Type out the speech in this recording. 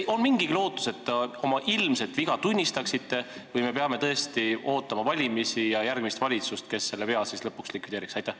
Kas on mingigi lootus, et te oma viga tunnistate, või me peame ootama valimisi ja järgmist valitsust, kes selle vea siis lõpuks likvideeriks?